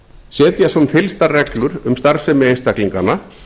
setja sem fyllstar reglur um starfsemi einstaklinganna